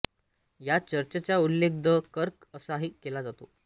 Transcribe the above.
या चर्चचा उल्लेख द कर्क असाही केला जातो